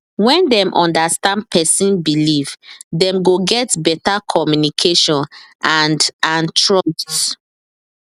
when dem understand persons believe dem go get better communication and and trust